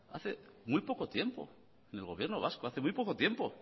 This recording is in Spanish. hace muy poco tiempo en el gobierno vasco hace muy poco tiempo